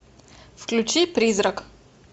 включи призрак